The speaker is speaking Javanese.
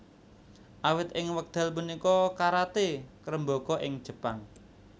Awit ing wekdal punika karaté ngrembaka ing Jepang